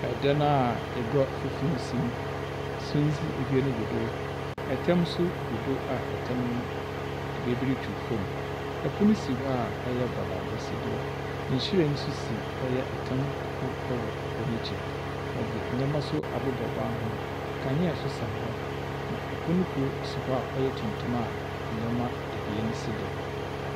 Ɛdan aa egwa fufuw si mu, sundzi ebien gu do. Ɛtam so gu do aa ɛtam no beebi retwiw fom. Ɛpon si hɔ aa ɔyɛ bɔdambɔ si do. Nhyiren so si ɔyɛ ɛtam kor ɛwɔ egwa n'akyir. Wɔdze enyɛma so abobɔ ban ho. Kanea so sɛn hɔ na ɛpon kor si hɔ aa ɔyɛ tuntum aa nyɛma ebien si do.